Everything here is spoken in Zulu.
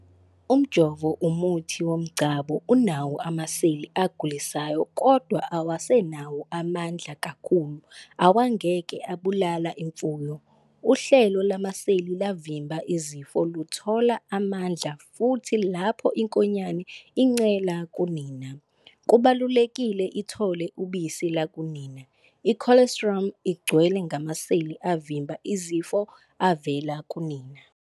Umjovo, umuthi womgcabo, unawo amaseli agulisayo, kodwa awasenawo amandla kakhulu, awangeke abulale imfuyo. Uhlelo lamaseli lavimba izifo luthola amandla futhi lapho inkonyane incela kunina, kubalulekile ithole ubisi lukanina. I'colostrum' igcwele ngamaseli avimba izifo avela kunina.